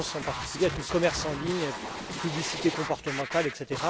Je pense en particulier à tout le commerce en ligne, à la publicité comportementale, etc.